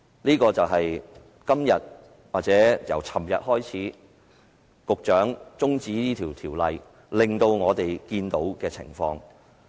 這便是由昨天局長提出中止審議《條例草案》開始，我們所看到的情況。